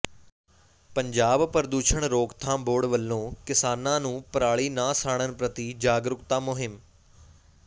ਪੰਜਾਬ ਪ੍ਰਦੂਸ਼ਣ ਰੋਕਥਾਮ ਬੋਰਡ ਵੱਲੋਂ ਕਿਸਾਨਾਂ ਨੂੰ ਪਰਾਲੀ ਨਾ ਸਾੜਨ ਪ੍ਰਤੀ ਜਾਗਰੂਕਤਾ ਮੁਹਿੰਮ